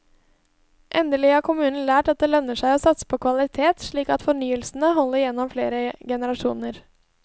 Endelig har kommunen lært at det lønner seg å satse på kvalitet, slik at fornyelsene holder gjennom flere generasjoner.